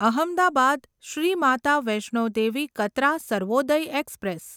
Ahmedabad Shri Mata Vaishno Devi Katra Sarvodaya express